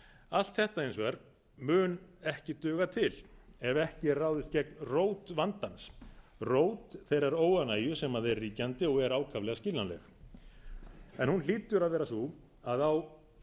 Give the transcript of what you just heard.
allt þetta hins vegar mun ekki duga til ef ekki er ráðist gegn rót vandans rót þeirrar óánægju sem er ríkjandi og er ákaflega skiljanleg hún hlýtur að vera sú að á